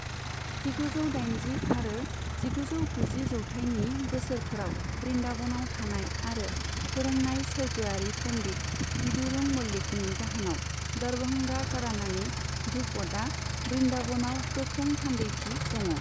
जिगुजौ दाइनजि आरो जिगुजौ गुजि जौथाइनि बोसोरफोराव बृन्दाबनाव थानाय आरो फोरोंनाय सोर्गोआरि पन्डित विदुर मल्लिकनि जाहोनाव दरभंगा घरानानि ध्रुपदआ बृन्दाबनाव गोख्रों थान्दैथि दङ।